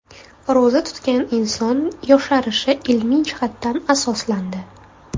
Ro‘za tutgan inson yosharishi ilmiy jihatdan asoslandi.